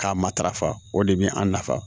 K'a matarafa o de bɛ an nafa